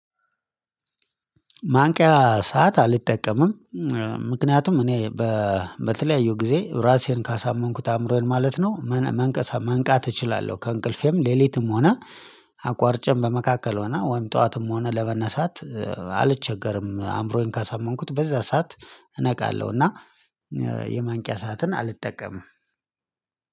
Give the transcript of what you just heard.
ማንቂያ ሰዓት አልጠቀምም ምክንያቱም እኔ በተለያዩ ጊዜ ራሴን ካሳመንኩት አእምሮዬን ማለት ነው። መንቃት እችላለሁ ከእንቅልፌም ሌሊትም ሆነ አቋርጬ በመካከል ሆነ ወይም ጠዋትም ሆነ ለመነሳት አልቸገርም። አምሮዬን ካሳመንኩት በዛ ሰዓት እነቃለሁ። እና የማንቂያ ሰዓትን አልጠቀምም።